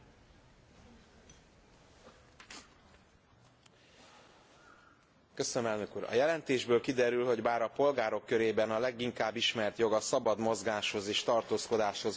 A jelentésből kiderül, hogy bár a polgárok körében a leginkább ismert jog a szabad mozgáshoz és tartózkodáshoz való jog, mégis a benyújtott petíciók alapján a legtöbb panasz éppen ezzel kapcsolatban érkezik.